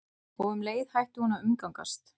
Og um leið hætti hún að umgangast